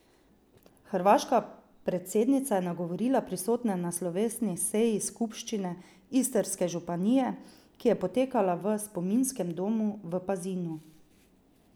Hrvaška predsednica je nagovorila prisotne na slovesni seji skupščine Istrske županije, ki je potekala v spominskem domu v Pazinu.